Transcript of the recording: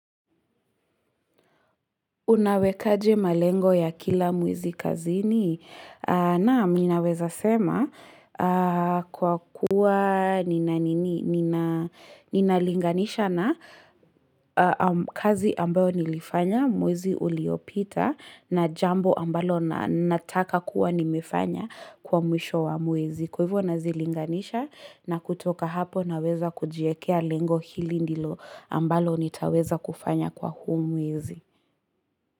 Unawekaje malengo ya kila mwezi kazini? Naam, ninaweza sema kwa kuwa nina linganisha na kazi ambayo nilifanya, mwezi uliopita na jambo ambalo nataka kuwa nimefanya kwa mwisho wa mwezi. Kwa hivyo nawezalinganisha na kutoka hapo naweza kujiwekea lengo hili ndilo ambalo nitaweza kufanya kwa huu mwezi.